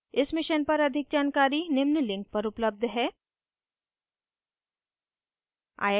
इस mission पर अधिक जानकारी निम्न लिंक पर उपलब्ध है